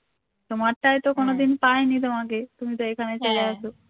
তোমারটাই তো কোনদিন পায়নি তোমাকে তুমি তো এখানে চলে আসো